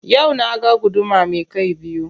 Yau na ga guduma me kai biyu.